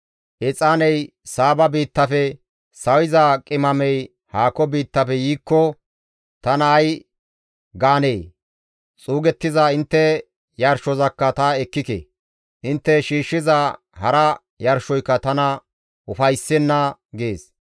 Exaaney Saaba biittafe sawiza qimamey haako biittafe yiikko tana ay gaanee? Xuugettiza intte yarshozakka ta ekkike; intte shiishshiza hara yarshoyka tana ufayssenna» gees.